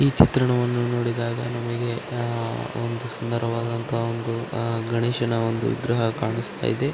ಈ ಚಿತ್ರಣವನ್ನು ನೋಡಿದಾಗ ನಮಗೆ ಒಂದು ಸುಂದರವಾದಂತಹ ಒಂದು ಗಣೇಶನ ವಿಗ್ರಹ ಕಾಣಿಸ್ತಾಯಿದೆ .